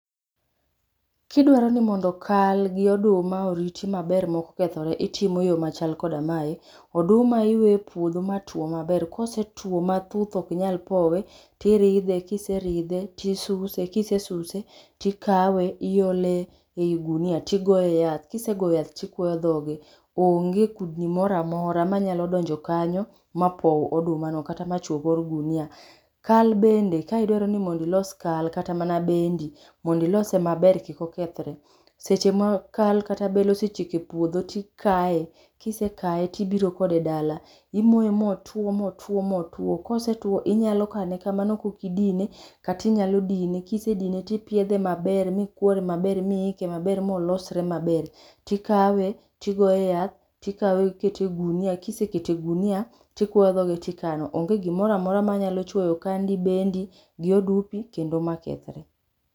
Kidwaro ni mondo kal gi oduma oriti maber maok okethore, itimo yoo machal koda mae, oduma iweyo e puodho ma tuo maber, kosetuo ma thuth ok nyal powe, tiridhe, kiseridhe, tisuse, kisesuse tikawe iole ei gunia tiogoe yath, kisegoyo yath tikuo dhoge, onge kudni moro amora manyalo donjo kanyo ma pow oduma no kata machuo kor gunia. Kal bende ka idwaro mondo ilos kal kata mana bendi mondo ilose maber kik okethre, seche ma kal kata bel osechiek e puodho tikae, kise kae tibiro kode dala, imoe motuo motuo motuo, kosetuo tinyalo kane kamano maok idine, kata inyalo dine, kisedine tipiedhe maber, mikuore maber, miike maber, molosre maber. Tikawe tigoe yath, tikawe ikete e gunia, kisekete e gunia tikuoyo dhoge tikano. Onge gimoro amora manyalo chuoyo kandi, bendi gi odumbi kendo ma kethre